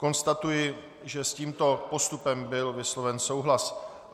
Konstatuji, že s tímto postupem byl vysloven souhlas.